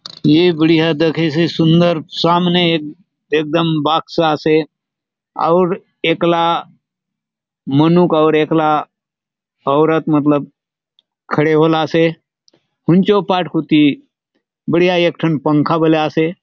ए बढ़िया दखेसे सुंदर सामने एक एकदम बॉक्स आसे आउर ऐकला मनुक अउर ऐकला औरत मतलब खड़े होलासे हुन चो पाट कुती बढ़िया एक टन पंखा बले आसे।